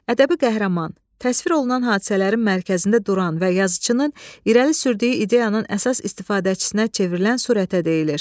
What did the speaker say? Ədəbi qəhrəman, təsvir olunan hadisələrin mərkəzində duran və yazıçının irəli sürdüyü ideyanın əsas istifadəçisinə çevrilən surətə deyilir.